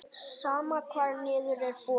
Sama hvar niður er borið.